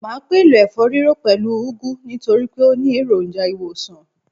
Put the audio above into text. Màá pèlò ẹ̀fọ́-rírò pẹ̀lú u úgú nítorípé ó ni èròjà ìwòsàn